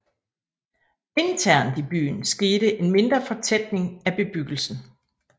Internt i byen skete en mindre fortætning af bebyggelsen